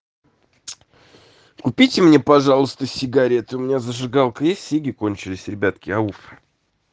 купите мне пожалуйста сигарету меня зажигалка есть сиги кончились ребятки ау